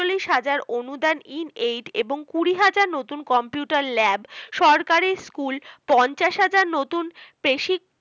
একচলিশ হাজার অনুদান এবংকুড়ি হাজার নতুন computer lab সরকারি স্কুল, পঞ্চাশ হাজার নতুন